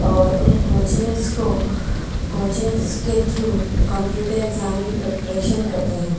और उन कोचिंग्स को कोचिंग्स के थ्रू कंप्यूटर एक्जाम की प्रीपरेशन करते हैं।